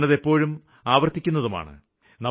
ഞാന് അത് എപ്പോഴും ആവര്ത്തിക്കുന്നതുമാണ്